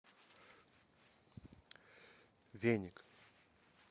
веник